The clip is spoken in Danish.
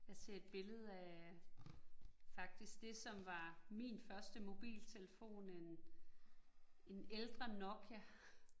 Jeg ser et billede af, faktisk det, som var min første mobiltelefon, en en ældre Nokia